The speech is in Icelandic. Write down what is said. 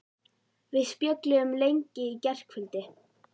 Við spjölluðum lengi í gærkvöldi.